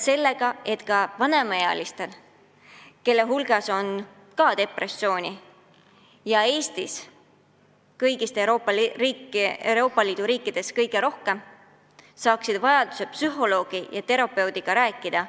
Ja ka Eesti vanemaealised, kelle hulgas on depressiooni rohkem kui teistes Euroopa Liidu riikides, peavad vajadusel saama psühholoogi ja psühhiaatriga rääkida.